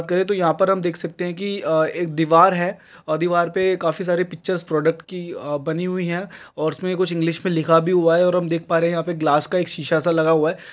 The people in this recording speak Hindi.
बाट करें तो यहाँ पे हम देख सकते है कि एक दीवार है। और दीवार पे काफी सारे पिक्चर्स प्रोडक्ट कि बनी हुई है। और उसमें कुछ इंग्लिश में लिखा भी हुआ है। और हम देख प रहे है यहाँ पे ग्लास एक सीसा सा लगा हुआ है।